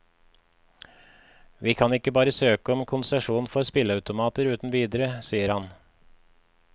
Vi kan ikke bare søke om konsesjon for spilleautomater uten videre, sier han.